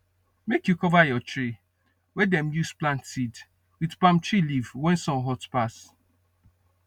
make you cover your tray wey dem use plant seed with palm tree leaf when sun hot pass